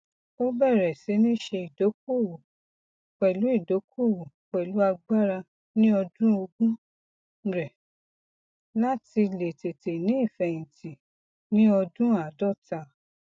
ó bẹrẹ sí ní ṣe ìdokoowo pẹlú ìdokoowo pẹlú agbára ní ọdún ogún rẹ láti lè tete ní ìfeyinti ní ọdún aadọta